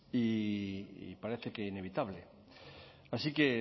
y parece que inevitable así que